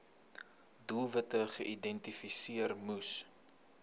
doelwitte geïdentifiseer moes